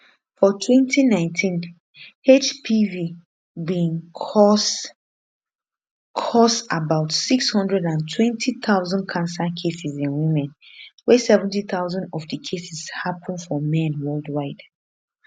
for 2019 hpv bin cause cause about 620000 cancer cases in women wey 70000 of di cases happun for men worldwide